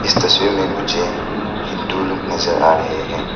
इस तस्वीर में मुझे हिंदू लोग नजर आ रहे हैं।